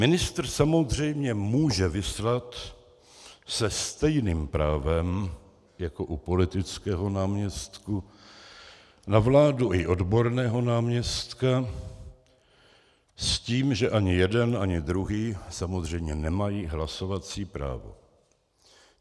Ministr samozřejmě může vyslat se stejným právem jako u politického náměstka na vládu i odborného náměstka, s tím, že ani jeden ani druhý samozřejmě nemají hlasovací právo.